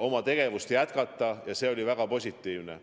oma tegevust jätkata ja see oli väga positiivne.